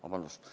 Vabandust!